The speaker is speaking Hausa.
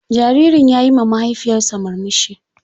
Jaririn ya yi ma mahaifiyarsa murmushi.